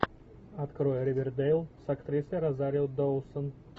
открой ривердэйл с актрисой розарио доусон